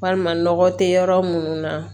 Walima nɔgɔ te yɔrɔ munnu na